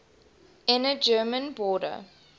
inner german border